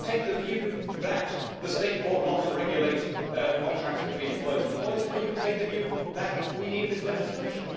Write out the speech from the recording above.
You can take the view that the state ought not to regulate contracts between employers and employees or you can take the view that we need this legislation.